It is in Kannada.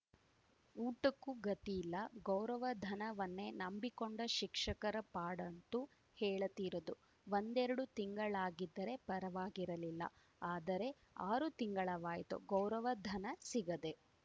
ಊಟಕ್ಕೂ ಗತಿಯಿಲ್ಲ ಗೌರವಧನವನ್ನೇ ನಂಬಿಕೊಂಡ ಶಿಕ್ಷಕರ ಪಾಡಂತೂ ಹೇಳತೀರದು ಒಂದೆರಡು ತಿಂಗಳಾಗಿದ್ದರೆ ಪರವಾಗಿರಲಿಲ್ಲ ಆದರೆ ಆರು ತಿಂಗಳವಾಯ್ತು ಗೌರವಧನ ಸಿಗದೆ